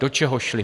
Do čeho šly?